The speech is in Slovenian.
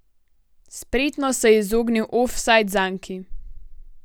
Spretno se je izognil ofsajd zanki.